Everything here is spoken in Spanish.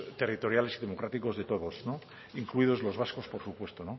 territoriales democráticos de todos incluidos los vascos por supuesto